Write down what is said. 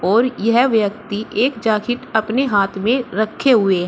और यह व्यक्ति एक जैकेट अपने हाथ में रखे हुए हैं